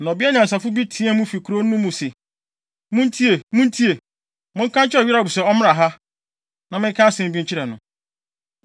Na ɔbea nyansafo bi teɛɛ mu fi kurow no mu se, “Muntie! Muntie! Monka nkyerɛ Yoab se ɔmmra ha, na menka asɛm bi nkyerɛ no.”